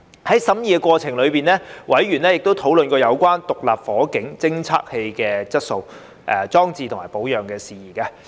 在審議過程中，委員曾討論有關獨立火警偵測器的質素、裝置及保養的事宜。